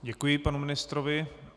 Děkuji panu ministrovi.